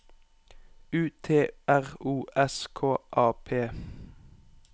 U T R O S K A P